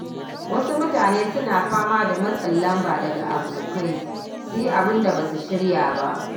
Wasu mutane suna fama da matsin lamba daga abokai su yi abin da ba su shirya ba.